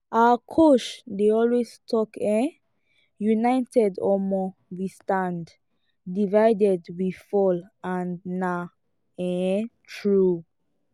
our coach dey always talk um united um we standdivided we fall and na um true.